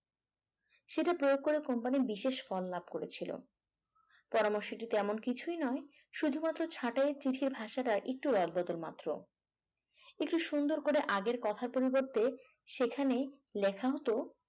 সেটা প্রয়োগ করে company বিশেষ ফর লাভ করেছিল পরামর্শটি তেমন কিছুই নয় শুধুমাত্র ভাষাটা একটু অদ বদল মাত্র একটু সুন্দর করে আগের কথার পরিবর্তে সেখানে লেখা হত